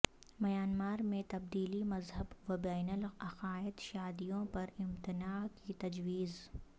Myanmar میں تبدیلی مذہب و بین العقائد شادیوں پر امتناع کی تجویز